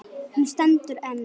Hún stendur enn.